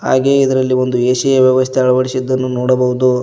ಹಾಗೆ ಇದರಲ್ಲಿ ಒಂದು ಎ_ಸಿ ಯ ವ್ಯವಸ್ಥೆಯನ್ನು ಅಳವಡಿಸಿದ್ದನ್ನು ನೋಡಬಹುದು.